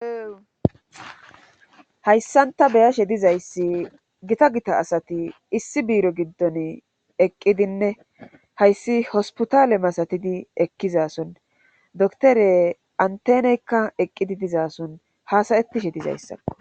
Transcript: Hayssanta beyashe dizayssi gita gita asati issi biiro giddon eqqidinne hayssi hospotaale masatidi ekkizason dotore anteneykka eqqidi dizason haasayetishe dizayssa.